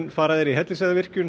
fara þeir í Hellisheiðarvirkjun